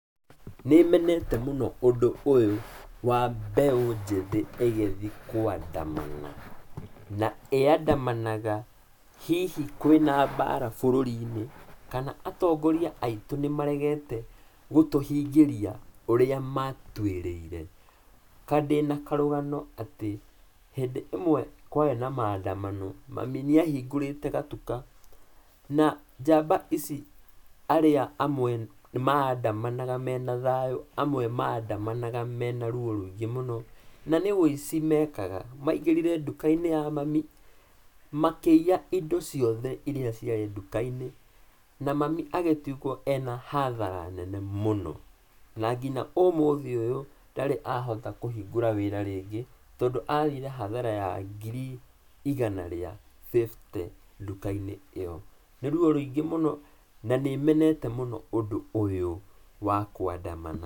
Nĩmenete mũno ũndũ ũyũ wa mbeũ njĩthĩ ĩgĩthiĩ kũandamana, na ĩandamanaga hihi kwĩna mbara bũrũri-inĩ kana atongoria aitũ nĩmaregete gũtũhingĩria ũrĩa matuĩrĩire. Ka ndĩna karũgano atĩ, hĩndĩ ĩmwe kwarĩ na maandamano, mami nĩahingũrĩte gatuka na njamba ici, arĩa amwe maandamanaga mena thayũ, amwe maandamanaga mena ruo rũingĩ mũno, na nĩ ũici mekaga, maingĩrire nduka-inĩ ya mami, makĩiya indo ciothe irĩa ciarĩ nduka-inĩ, na mami agĩtigwo ena hathara nene mũno, na nginya ũmũthĩ ũyũ, ndarĩ ahota kũhingũra wĩra rĩngĩ, tondũ athire hathara ya ngiri igana rĩa fifty nduka-inĩ ĩyo. Nĩ ruo rũingĩ mũno, na nĩ menete mũno ũndũ ũyũ wa kũandamana.